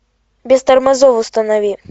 без тормозов установи